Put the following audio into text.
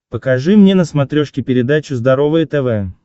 покажи мне на смотрешке передачу здоровое тв